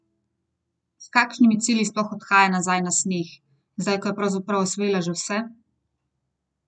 S kakšnimi cilji sploh odhaja nazaj na sneg, zdaj ko je pravzaprav osvojila že vse?